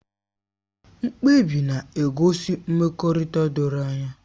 Mkpebi na-egosi mmekọrịta doro anya